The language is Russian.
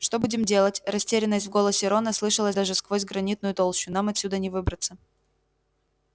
что будем делать растерянность в голосе рона слышалась даже сквозь гранитную толщу нам отсюда не выбраться